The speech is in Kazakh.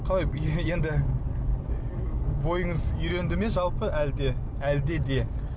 қалай енді бойыңыз үйренді ме халпы әлде әлде де